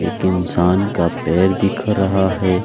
एक इंसान का पैर दिख रहा है।